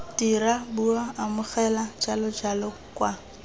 dira bua amogela jalojalo kwa